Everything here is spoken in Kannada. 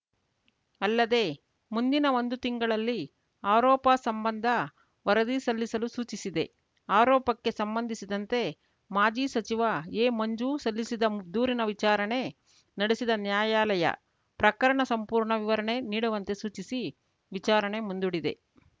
ಅಲ್ಲದೆ ಮುಂದಿನ ಒಂದು ತಿಂಗಳಲ್ಲಿ ಆರೋಪ ಸಂಬಂಧ ವರದಿ ಸಲ್ಲಿಸಲು ಸೂಚಿಸಿದೆ ಅರೋಪಕ್ಕೆ ಸಂಬಂಧಿಸಿದಂತೆ ಮಾಜಿ ಸಚಿವ ಎ ಮಂಜು ಸಲ್ಲಿಸಿದ ದೂರಿನ ವಿಚಾರಣೆ ನಡೆಸಿದ ನ್ಯಾಯಾಲಯ ಪ್ರಕರಣ ಸಂಪೂರ್ಣ ವಿವರಣೆ ನೀಡುವಂತೆ ಸೂಚಿಸಿ ವಿಚಾರಣೆ ಮುಂದೂಡಿದೆ